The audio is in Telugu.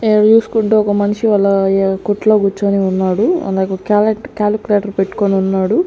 ఈడ జూసుకుంటే ఒక మనిషి అలా య కొట్లో కూర్చొని ఉన్నాడు అలాగే క్యాలక్ట్ కాలక్యులేటర్ పెట్టుకోనున్నాడు.